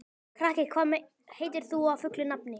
Kraki, hvað heitir þú fullu nafni?